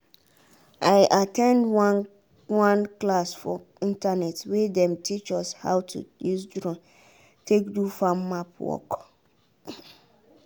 i at ten d one one class for internet wey dem teach us how to use drone take do farm map work.